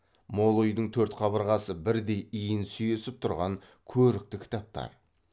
мол үйдің төрт қабырғасы бірдей иін сүйесіп тұрған көрікті кітаптар